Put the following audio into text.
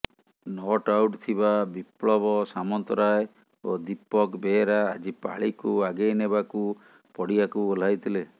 not out ଥିବା ବିପ୍ଳବ ସାମନ୍ତରାୟ ଓ ଦୀପକ ବେହେରା ଆଜି ପାଳିକୁ ଆଗେଇ ନେବାକୁ ପଡ଼ିଆକୁ ଓହ୍ଲାଇ ଥିଲେ